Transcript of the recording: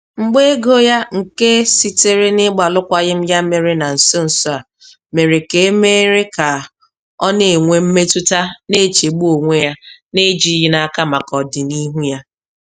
Mgba ego ya nke sitere na-ịgba alụkwaghịm ya mere na nso nso a mere ka a mere ka ọ na-enwe mmetụta na-echegbu onwe ya na ejighị n'aka maka ọdịnihu ya.